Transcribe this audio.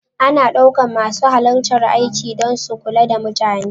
Ana ɗaukar masu halarta aiki don su kula da mutane.